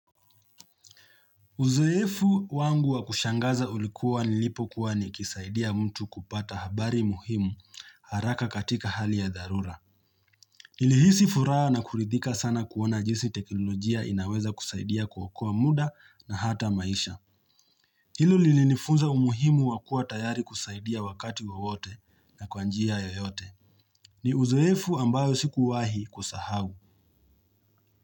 Uzoefu wangu wa kushangaza ulikua nilipo kuwa nikisaidia mtu kupata habari muhimu haraka katika hali ya dharura. Nilihisi furaha na kuridhika sana kuona jinsi teknolojia inaweza kusaidia kuokoa muda na hata maisha. Hilo lilinifunza umuhimu wakua tayari kusaidia wakati wowote na kwa njia yoyote. Ni uzoefu ambao sikuwahi kusahau.